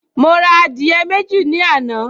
Mo ra adìyẹ méjì ní àná